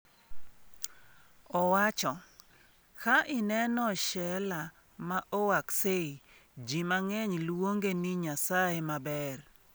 Owacho: “Ka ineno Sheela ma Oaksey, ji mang’eny luonge ni nyasaye maber”.